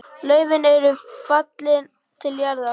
Laufin eru fallin til jarðar.